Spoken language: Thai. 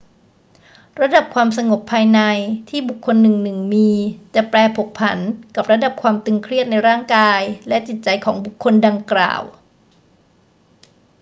ระดับความสงบภายในที่บุคคลหนึ่งๆ มี จะแปรผกผันกับระดับความตึงเครียดในร่างกายและจิตใจของบุคคลดังกล่าว